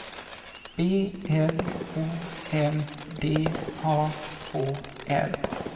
B L O M D A H L